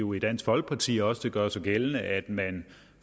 jo i dansk folkeparti også gør sig gældende at man